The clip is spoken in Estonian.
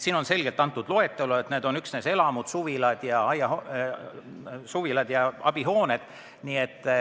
Siin on selgelt kirjas loetelu, et need on üksnes elamud, suvilad ja abihooned.